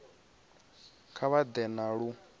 kha vha ḓe na lu